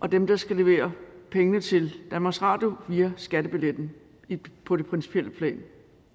og dem der skal levere pengene til danmarks radio via skattebilletten på det principielle plan